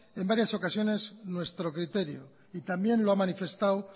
en varias ocasiones nuestro criterio y también lo ha manifestado